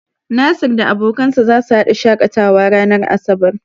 Nasir da abokansa zasu hada shakatawa ranar asabar.